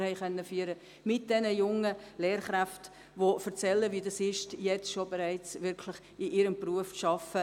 Wir haben mit diesen jungen Lehrkräften gute Gespräche führen können.